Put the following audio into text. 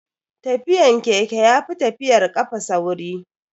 Tafiyan keke yafi tafiyar kafa sauri.